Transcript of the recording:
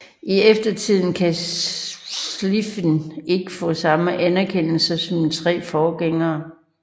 I eftertiden har Schlieffen ikke fået samme anerkendelse som sine tre forgængere